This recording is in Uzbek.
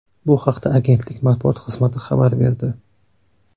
Bu haqda agentlik matbuot xizmati xabar berdi.